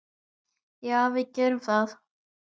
Já, við gerum það.